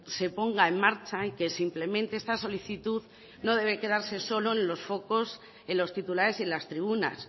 se ponga en marcha y que simplemente esta solicitud no debe quedarse solo los focos en los titulares y en las tribunas